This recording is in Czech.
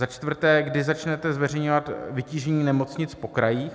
Za čtvrté: Kdy začnete zveřejňovat vytížení nemocnic po krajích?